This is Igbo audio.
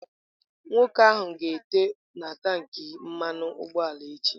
Nwoke ahụ ga-ete agba na tankị mmanu ugboala ya echi.